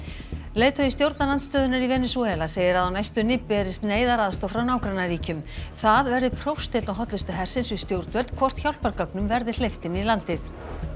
leiðtogi stjórnarandstöðunnar í Venesúela segir að á næstunni berist neyðaraðstoð frá nágrannaríkjum það verði prófsteinn á hollustu hersins við stjórnvöld hvort hjálpargögnum verði hleypt inn í landið